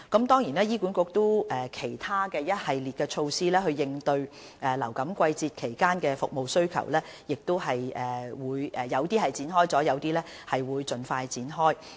當然，醫管局亦有其他一系列措施，應對流感季節的服務需求，有些措施已經展開，有些亦會盡快展開。